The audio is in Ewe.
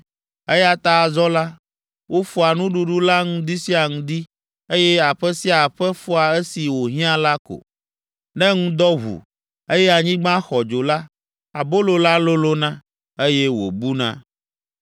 eya ta azɔ la, wofɔa nuɖuɖu la ŋdi sia ŋdi, eye aƒe sia aƒe fɔa esi wòhiã la ko. Ne ŋdɔ ʋu, eye anyigba xɔ dzo la, abolo la lolõna, eye wòbuna.